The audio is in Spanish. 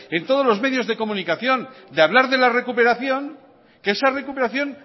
en todos los medios de comunicación de hablar de la recuperación que esa recuperación